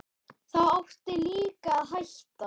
Þá áttu líka að hætta.